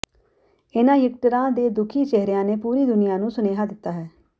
ਇਨ੍ਹਾਂ ਿਯਕਟਰਾਂ ਦੇ ਦੁਖੀ ਚਿਹਰਿਆਂ ਨੇ ਪੂਰੀ ਦੁਨੀਆ ਨੂੰ ਸੁਨੇਹਾ ਦਿੱਤਾ ਹੈ